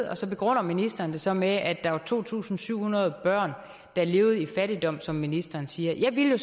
og så begrunder ministeren det så med at der var to tusind syv hundrede børn der levede i fattigdom som ministeren siger jeg ville